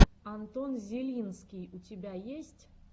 антон зелинский у тебя есть